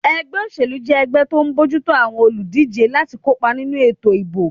Ẹgbẹ́ òṣèlú jẹ́ ẹgbẹ́ tó ń bójú tó àwọn olùdíjé láti kópa nínú ètò ìbò